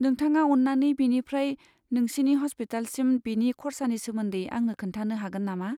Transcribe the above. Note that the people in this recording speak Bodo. नोंथाङा अन्नानै बेनिफ्राय नोंसिनि हस्पिटालसिम बिनि खर्सानि सोमोन्दै आंनो खोन्थानो हागोन नामा?